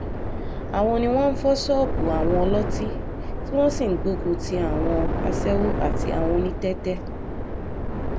àwọn ni wọ́n ń fọ́ ṣọ́ọ̀bù àwọn ọlọ́tí tí wọ́n sì ń gbógun ti àwọn aṣẹ́wó àti àwọn onítẹ́tẹ́